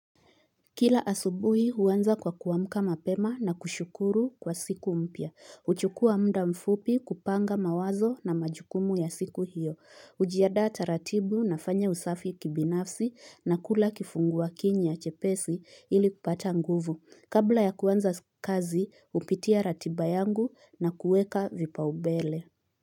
Kila asubuhi huanza kwa kuamka mapema na kushukuru kwa siku mpya. hUchukua muda mfupi kupanga mawazo na majukumu ya siku hiyo. hUjiandaa taratibu nafanya usafi kibinafsi na kula kifungua kinywa chepesi ili kupata nguvu. Kabla ya kuanza kazi hupitia ratiba yangu na kuweka vipa ubele.